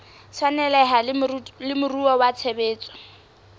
tshwaneleha le moruo wa tshebetso